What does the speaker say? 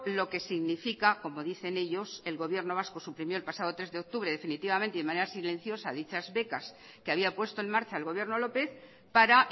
lo que significa como dicen ellos el gobierno vasco suprimió el pasado tres de octubre definitivamente de manera silenciosa dichas becas que había puesto en marcha el gobierno lópez para